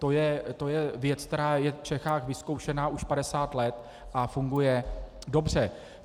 To je věc, která je v Čechách vyzkoušená už 50 let a funguje dobře.